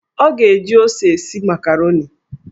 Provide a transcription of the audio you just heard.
Ọ ga-eji ose esi makaroni.